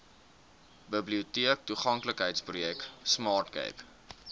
biblioteektoeganklikheidsprojek smart cape